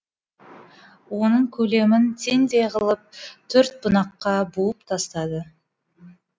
оның көлемін теңдей қылып төрт бунаққа буып тастады